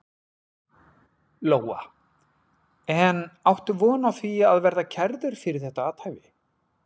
Lóa: En áttu von á því að verða kærður fyrir þetta athæfi?